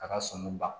A ka sonu ban